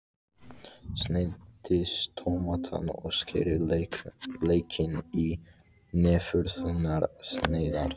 Sneiðið tómatana og skerið laukinn í næfurþunnar sneiðar.